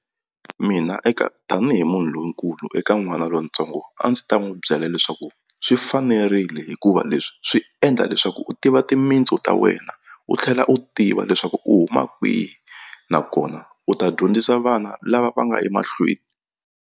Mina eka tanihi munhu lonkulu eka n'wana lontsongo a ndzi ta n'wi byela leswaku swi fanerile hikuva leswi swi endla leswaku u tiva timintsu ta wena u tlhela u tiva leswaku u huma kwihi nakona u ta dyondzisa vana lava va nga emahlweni.